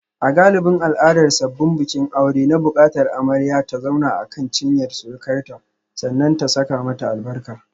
A galibin al'adar sabbin bikin aure na bukatar amarya ta zauna akan cinyar surukarta sannan ta saka mata albarka.